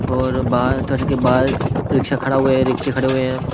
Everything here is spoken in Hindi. और बाहर चढ़ के बाहर रिक्शा खड़ा हुए है रिक्शे खड़े हुए हैं.